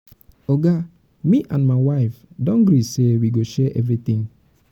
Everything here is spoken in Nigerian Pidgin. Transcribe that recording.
oga me and my wife wife do gree say wey go share everytin.